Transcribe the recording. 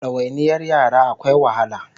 Dawainiyar yara akwai wahala